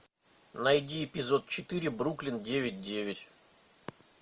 найди эпизод четыре бруклин девять девять